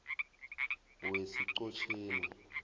wesiqhotjeni